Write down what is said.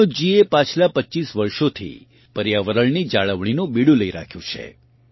મનોજજી એ પાછલાં પચ્ચીસ વર્ષોથી પર્યાવરણની જાણવણીનું બીડું લઈ રાખ્યું છે